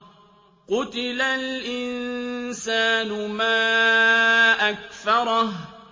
قُتِلَ الْإِنسَانُ مَا أَكْفَرَهُ